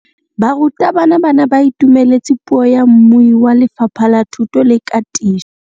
Barutabana ba ne ba itumeletse puô ya mmui wa Lefapha la Thuto le Katiso.